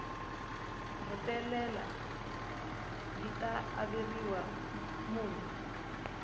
hetelela yi ta averiwa mune